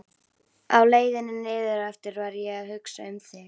Á leiðinni niðureftir var ég að hugsa um þig.